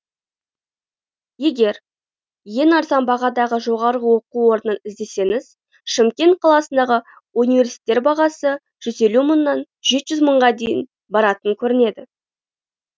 егер ең арзан бағадағы жоғарғы оқу орнын іздесеңіз шымкент қаласындағы университеттер бағасы жүз елу мыңнан жеті жүз мыңға дейін баратын көрінеді